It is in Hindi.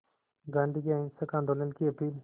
गांधी के अहिंसक आंदोलन की अपील